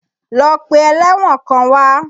Lọ pe ẹlẹ́wọ̀n kan wá!